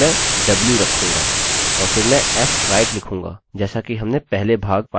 और फिर मैं fwrite लिखूँगा जैसा कि हमने अपने पहले भाग filenew में किया था